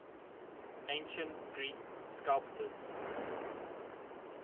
ancient greek sculptors